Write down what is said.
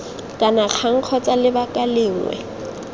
kana kang kgotsa lebaka lengwe